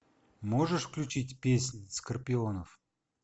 можешь включить песнь скорпионов